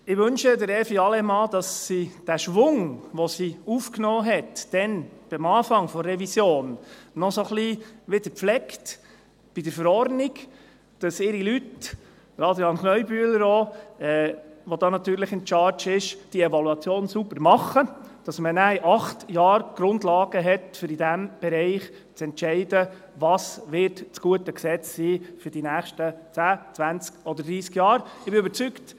Ich wünsche Evi Allemann, dass sie den Schwung, den sie damals am Anfang der Revision aufgenommen hat, bei der Verordnung noch ein wenig weiterpflegt, damit ihre Leute – auch Adrian Kneubühler, der hier natürlich in Charge ist – die Evaluation sauber machen, damit man in acht Jahren die Grundlagen hat, um in diesem Bereich zu entscheiden, was das gute Gesetz für die nächsten zehn, zwanzig oder dreissig Jahre sein wird.